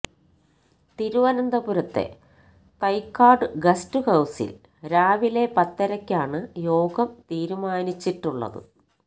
തിരുവനന്തപുരത്തെ തൈക്കാട് ഗസ്റ്റ് ഹൌസില് രാവിലെ പത്തരക്കാണ് യോഗം തീരുമാനിച്ചിട്ടുള്ളത്